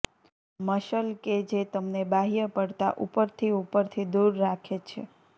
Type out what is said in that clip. muscle કે જે તમને બાહ્ય પડતા ઉપરથી ઉપરથી દૂર રાખે છે